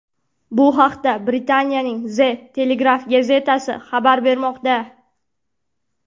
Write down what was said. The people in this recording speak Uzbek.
Bu haqda Britaniyaning The Telegraph gazetasi xabar bermoqda .